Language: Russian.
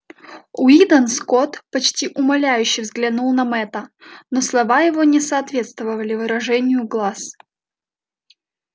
уидон скотт почти умоляюще взглянул на мэтта но слова его не соответствовали выражению глаз